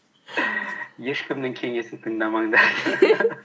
ешкімнің кеңесін тыңдамандар